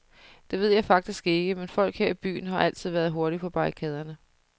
Det ved jeg faktisk ikke, men folk her i byen har altid været hurtigt på barrikaderne.